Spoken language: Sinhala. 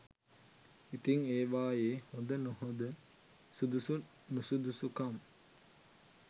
ඉතිං ඒවයේ හොඳ නොහොඳ සුදුසු නුසුදුසුකම්